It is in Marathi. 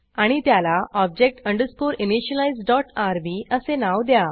आणि त्याला object underscore initialise dot RB असे नाव द्या